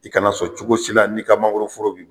I kana sɔn cogo si la n'i ka mangoroforo bi